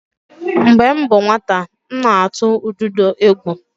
Mgbe m bụ nwata, m na-atụ ududo egwu.